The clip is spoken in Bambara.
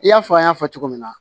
I y'a fɔ an y'a fɔ cogo min na